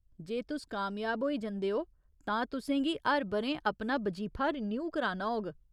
जे तुस कामयाब होई जंदे ओ, तां तु'सें गी हर ब'रें अपना बजीफा रिनियू कराना होग।